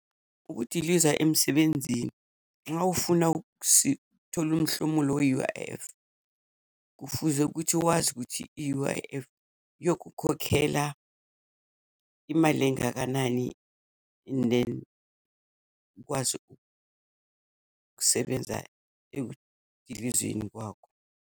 Ukudiliza emsebenzini. Uma ufuna ukuthola umhlomulo we-U_I_F, kufuze ukuthi wazi ukuthi i-U_I_F yokukhokhela imali engakanani and then ukwazi ukusebenza ekudilizeni kwakho.